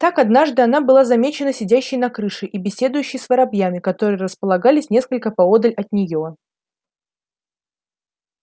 так однажды она была замечена сидящей на крыше и беседующей с воробьями которые располагались несколько поодаль от неё